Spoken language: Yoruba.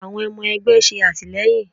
Àwọn ọmọ ẹgbẹ́ ṣe àtìlẹ́yìn.